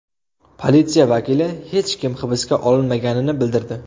Politsiya vakili hech kim hibsga olinmaganini bildirdi.